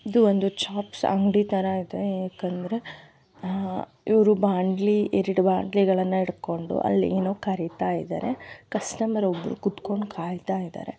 ಇದು ಒಂದು ಚಾಪ್ಸ್ ಅಂಗಡಿ ತರ ಇದೆ ಏಕಂದ್ರೆ ಹಮ್ ಇವ್ರು ಬಾಂಡ್ಲಿ ಎರಡು ಬಾಂಡ್ಲಿಗಳನ್ನ ಹಿಡ್ಕೊಂಡು ಅಲ್ಲಿ ಏನು ಕರಿತಾ ಇದ್ದಾರೆ ಕಸ್ಟಮರ್ ಒಬ್ರು ಕುತ್ಕೊಂಡು ಕಾಯ್ತಾ ಇದ್ದಾರೆ.